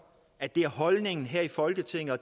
at det er holdningen her i folketinget og